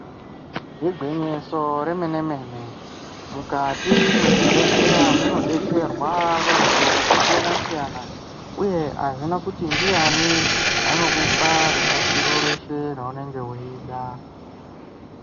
Igwinyiso re mene mene mukati mezvi bhedhleya muno betserwa vantu vaka siyana siyana uye azvina kuti ndiani anokupa rubatsiro reshe raunenge weida.